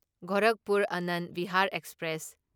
Gorakhpur Anand Vihar express